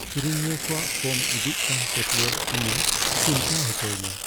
ᱠᱤᱨᱤᱧᱤᱭᱟᱹ ᱠᱚᱣᱟᱜ ᱠᱚᱢ ᱤᱫᱤᱜ ᱠᱟᱱ ᱯᱟᱹᱛᱭᱟᱹᱣ ᱤᱧᱮ ᱪᱤᱱᱛᱟᱹ ᱦᱚᱪᱚᱭᱤᱧᱟ ᱾